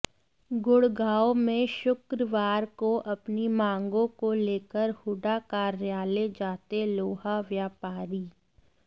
गुडग़ांव में शुक्रवार को अपनी मांगों को लेकर हूडा कार्यालय जाते लोहा व्यापारी